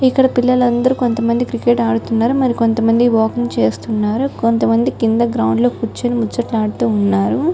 ఇక్కడ పిల్లలందరూ కొంత మంది క్రికెట్ ఆడుతున్నారు మరి కొంత మంది వాకింగ్ చేస్తున్నారు కొంత మంది కింద గ్రౌండ్ లో ముచ్చటలాడుతున్నారు.